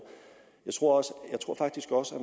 jeg tror faktisk også